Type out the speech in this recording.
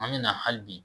An bɛ na hali bi